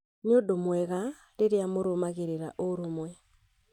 Nĩ ũndũ mwega rĩrĩa mũrũmagĩrĩra ũrũmwe